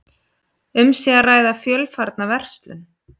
Um sé að ræða fjölfarna verslun